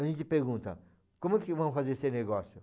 A gente pergunta, como é que vamos fazer esse negócio?